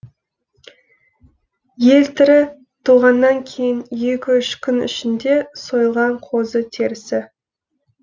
елтірі туғаннан кейін екі үш күн ішінде сойылған қозы терісі